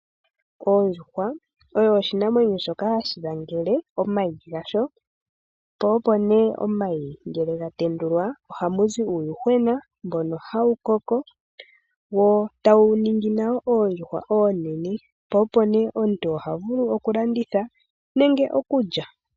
Ondjuhwa oyo oshinamwenyo shoka hashi langele omayi gasho, po opo nee ngele omayi ga tendulwa ohamu zi uuyuhwena mbono hawu koko wo tawu ningi nawo oondjuhwa oonene, po opo nee omuntu ha vulu okulanditha nenge okulya.